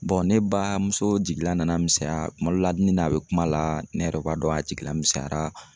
ne baa muso jigila nana misɛnya, kuma dɔ la ni n'a bɛ kuma la ne yɛrɛ b'a dɔn a jigila misɛyara